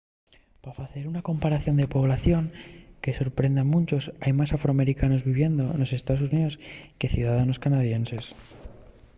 pa facer una comparación de población que sorprende a munchos hai más afroamericanos viviendo nos estaos xuníos que ciudadanos canadienses